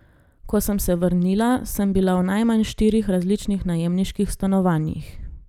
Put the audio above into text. Ko sem se vrnila, sem bila v najmanj štirih različnih najemniških stanovanjih.